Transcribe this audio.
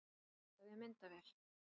Fitlaði við myndavél